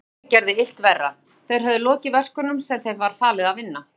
Iðjuleysið gerði illt verra, þeir höfðu lokið verkunum sem þeim var falið að vinna.